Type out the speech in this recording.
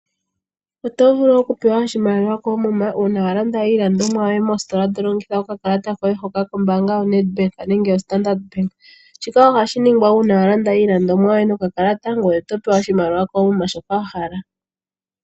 Otovulu okupewa oshimaliwa koomuma uuna walanda iilandomwa yoye mositola tolongitha okakalata koye hoka koombaanga yoNedbank nenge yoStandard. Shika ohashi ningwa uuna walanda iilandomwa yoye nokakalata ngoye otopewa oshimaliwa koomuma shoka wahala.